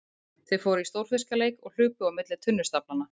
Þau fóru í stórfiskaleik og hlupu á milli tunnustaflanna.